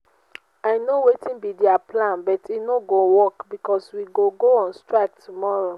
i know wetin be their plan but e no go work because we go go on strike tomorrow